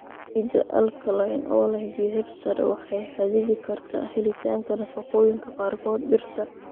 Ciidda alkaline, oo leh pH sare, waxay xaddidi kartaa helitaanka nafaqooyinka qaarkood dhirta.